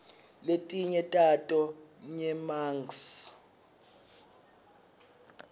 letinye tato nyemangs